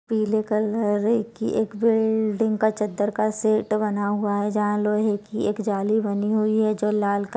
पीले कलर की एक बिल्डिंग का चद्दर का सेट बना हुआ है जहाँ लोहे की एक जाली बनी हुई है जो लाल क--